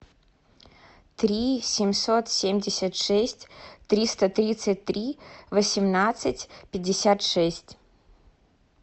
три семьсот семьдесят шесть триста тридцать три восемнадцать пятьдесят шесть